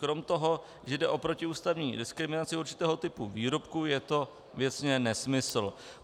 Kromě toho, že jde o protiústavní diskriminaci určitého typu výrobku, je to věcně nesmysl.